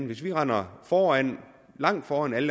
hvis vi render langt foran alle